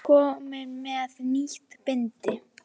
Kominn með nýtt bindi.